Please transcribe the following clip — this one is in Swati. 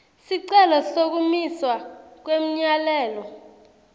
sicelo sekumiswa kwemyalelo